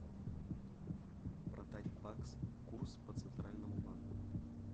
продать бакс курс по центральному банку